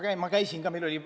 Ma käisin ka Valkas.